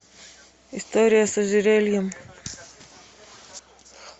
история с ожерельем